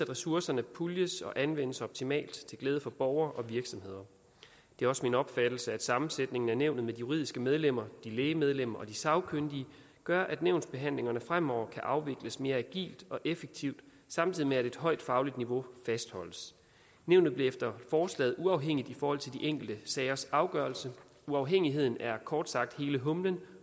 ressourcerne puljes og anvendes optimalt til glæde for borgere og virksomheder det er også min opfattelse at sammensætningen af nævnet med juridiske medlemmer læge medlemmer og sagkyndige gør at nævnsbehandlingerne fremover kan afvikles mere agilt og effektivt samtidig med at et højt fagligt niveau fastholdes nævnet bliver efter forslaget uafhængigt i forhold til de enkelte sagers afgørelse uafhængigheden er kort sagt hele humlen